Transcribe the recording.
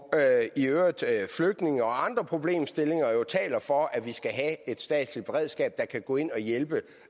i øvrigt flygtninge og andre problemstillinger jo taler for at vi skal have et statsligt beredskab der kan gå ind og hjælpe